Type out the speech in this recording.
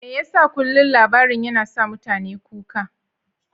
Me yasa kullum labarin yana sa mutane kuka?